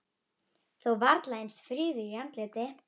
Þó varla eins fríður í andliti.